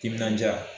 Timinandiya